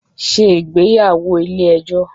Ṣé ìgbéyàwó ilé ẹjọ́